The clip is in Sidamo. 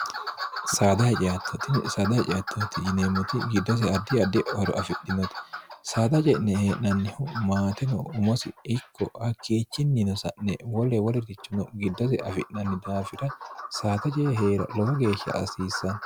sdhotisada hacttooti yineemmoti giddose adi adi horo afidhinoti saada ce'ne hee'nannihu maatino umosi ikko hakkiichinni no sa'ne wole wolirrichuno giddose afi'nanni daafira saata je e hee'ra lowo geeshsha asiissanno